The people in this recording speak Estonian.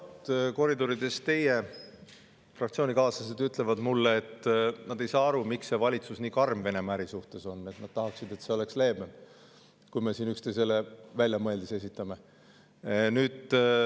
No vot, koridorides teie fraktsioonikaaslased ütlevad mulle, et nad ei saa aru, miks see valitsus nii karm on Venemaa äri suhtes, nad tahaksid, et see oleks leebem – kui me siin üksteisele väljamõeldisi esitame.